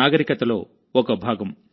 నాగరికతలో ఒక భాగం